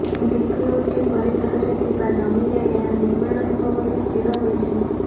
BPUT ପରିସରରେ ଥିବା ଜମିରେ ଏହା ନିର୍ମାଣ ହେବ ବୋଲି ସ୍ଥିର ହୋଇଛି